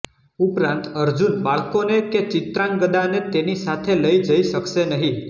ઉપરાંત અર્જુન બાળકોને કે ચિત્રાંગદાને તેની સાથે લઇ જઇ શકશે નહીં